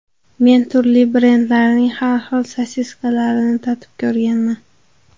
Men turli brendlarning har xil sosiskalarini tatib ko‘rganman.